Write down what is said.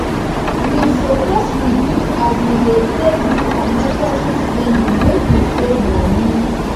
we suppose reduce as wey dey take do unnecessary spending make we save moni